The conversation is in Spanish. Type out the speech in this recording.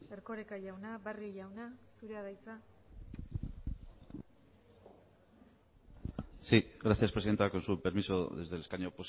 erkoreka jauna barrio jauna zurea da hitza sí gracias presidenta con su permiso desde el escaño